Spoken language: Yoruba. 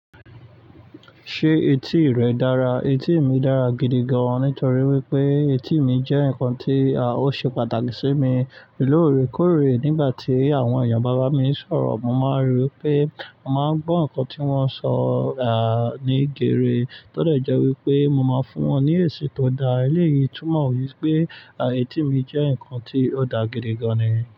Ṣé etí rẹ dára? Etí mi dára gidi gan, nítorí wípé etí mi jẹ́ ǹkan tí à ó ṣe pàtàkì sí mi. Lóòrèkóòrè nígbà tí àwọn ẹ̀yàn bàbá mi ń sọ̀rọ̀, mo máa ń rí i pé mo máa ń gbọ́ ǹkan tí wón ń sọ à ní ìgèrè. Tódẹ̀ jẹ́ wípé mo máa ń fún wọn ní èsì tó dá. Eléyìí túmọ̀ wípé à etí mi jẹ́ ǹkan tí ó dà gidi gan-an ni.